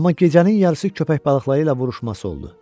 Amma gecənin yarısı köpək balıqları ilə vuruşması oldu.